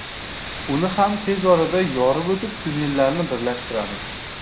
Uni ham tez orada yorib o‘tib, tunnellarni birlashtiramiz”.